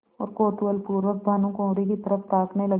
और कौतूहलपूर्वक भानुकुँवरि की तरफ ताकने लगे